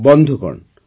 ବନ୍ଧୁଗଣ